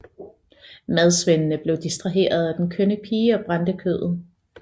Madsvendene blev distraherede af den kønne pige og brændte brødet